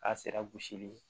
A sira gosili